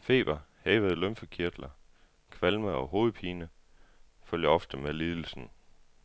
Feber, hævede lymfekirtler, kvalme og hovedpine følger ofte med lidelsen,